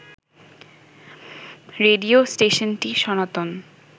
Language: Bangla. রেডিও স্টেশনটি সনাতন